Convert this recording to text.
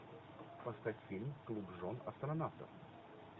поставь фильм клуб жен астронавтов